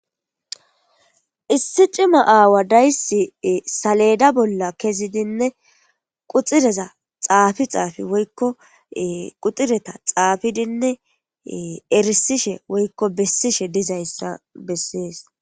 Issi cimma aawa dayisi saleda bolla kezidinne quxureza Xafi Xafi woyko qudhureta xafidinne erisishe woykon besishe dizaysa besese